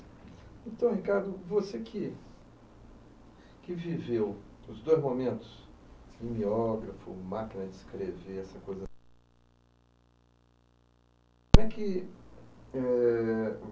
Então, Ricardo, você que que viveu os dois momentos, cineógrafo, máquina de escrever, essa coisa, como é que, eh...